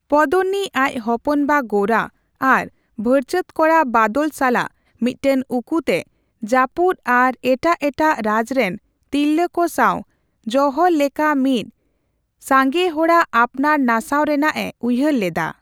ᱯᱚᱫᱱᱱᱤ ᱟᱡ ᱦᱚᱯᱚᱱ ᱵᱟ ᱜᱳᱨᱟ ᱟᱨ ᱵᱷᱟᱹᱭᱪᱟᱹᱛ ᱠᱚᱲᱟ ᱵᱟᱫᱚᱞ ᱥᱟᱞᱟᱜ ᱢᱤᱫᱴᱟᱝ ᱩᱠᱩᱛᱮ ᱡᱟᱯᱩᱫ ᱟᱨ ᱮᱴᱟᱜ ᱮᱴᱟᱜ ᱨᱟᱡ ᱨᱮᱱ ᱛᱤᱨᱞᱟᱹ ᱠᱚ ᱥᱟᱣ ᱡᱚᱣᱦᱚᱨ ᱞᱮᱠᱟ ᱢᱤᱫ ᱥᱟᱜᱮᱦᱚᱲᱟᱜ ᱟᱯᱱᱟᱨ ᱱᱟᱥᱟᱣ ᱨᱮᱱᱟᱜ ᱮ ᱩᱭᱦᱟᱹᱨ ᱞᱮᱫᱟ ᱾